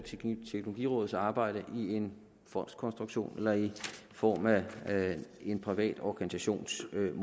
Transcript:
teknologirådets arbejde i en fondskonstruktion eller i form af en privat organisationsmodel